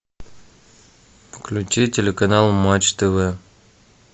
включи телеканал матч тв